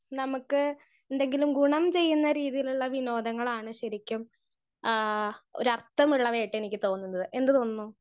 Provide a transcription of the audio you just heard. Speaker 1 നമ്മക്ക് എന്തെങ്കിലും ഗുണം ചെയുന്ന രീതിയിലുള്ള വിനോദങ്ങളാണ് ശരിക്കും ആ ഒരർത്തമുള്ള വേട്ട എനിക്ക് തോന്നുന്നത്.എന്ത് തോന്നുന്നു?